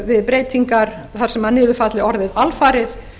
við breytingar þar sem niður falli orðið alfarið